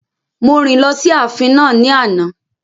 Mo rìn lọ sí ààfin náà ní àná